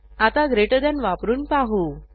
आता greater than वापरून पाहू